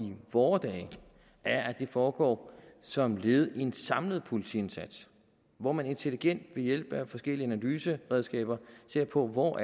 vore dage er at den foregår som led i en samlet politiindsats hvor man intelligent og ved hjælp af forskellige analyseredskaber ser på hvor